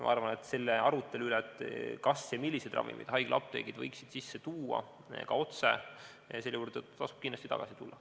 Ma arvan, et selle arutelu juurde, kas ja milliseid ravimeid võiksid haiglaapteegid otse sisse tuua, tasub kindlasti tagasi tulla.